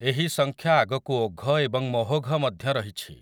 ଏହି ସଂଖ୍ୟା ଆଗକୁ ଓଘ ଏବଂ ମହୋଘ ମଧ୍ୟ ରହିଛି ।